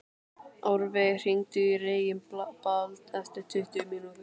Árveig, hringdu í Reginbald eftir tuttugu mínútur.